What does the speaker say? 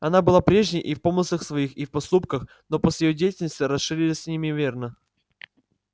она была прежней и в помыслах своих и в поступках но поле её деятельности расширилось неимоверно